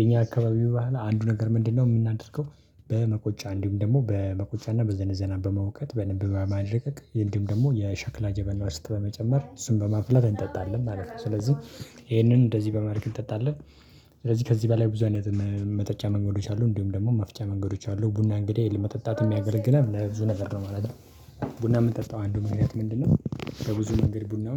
የኛ አካባቢው ባህል አንዱ ነገር ምንድነው? የምናደርገው በመቆጫ እንዲሁም ደግሞ በመቆጫና በዘነዘና በመውቀጥ በደንብ በማድቀቅ ይሄንም ደግሞ የሸክላ ጀበና ዉስጥ በመጨመር እሱን በማፍላት እንጠጣለን ማለት ነው። ስለዚህ ይሄንን እንደዚህ በማረግ እንጠጣለን። ስለዚህ ከዚህ በላይ ብዙ አይነት መጠጫ መንገዶች አሉ እንዲሁም ደግሞ መፍጫ መንገዶች አሉ። ቡና እንግዲህ ለመጠጣትም ያገለግላል ለብዙ ነገር ነው ማለት ነው። ቡና ምንጠጣው አንዱ ምክንያት ምንድነው? በብዙ መንገድ ቡናውን